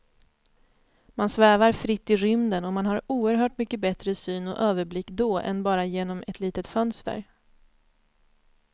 Man svävar fritt i rymden och man har oerhört mycket bättre syn och överblick då än bara genom ett litet fönster.